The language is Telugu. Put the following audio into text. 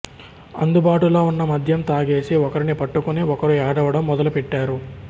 అందుబాటులో ఉన్న మద్యం తాగేసి ఒకరిని పట్టుకుని ఒకరు ఏడవడం మొదలు పెట్టారు